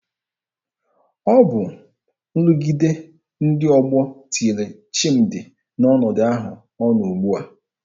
Ọ bụ nrụgide ndị ọgbọ tinyere Chimdi n'ọnọdụ ahụ ọ nọ ugbua.